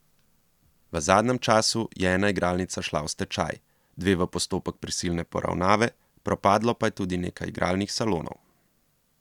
V zadnjem času je ena igralnica šla v stečaj, dve v postopek prisilne poravnave, propadlo pa je tudi nekaj igralnih salonov.